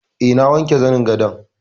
E, na wanke zanin gadon.